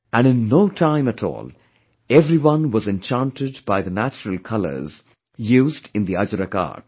And in no time at all, everyone was enchanted by the natural colours used in the Ajrak art